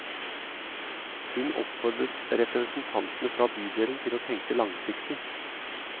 Hun oppfordret representantene fra bydelen til å tenke langsiktig.